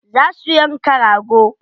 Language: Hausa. Za su yanka rago.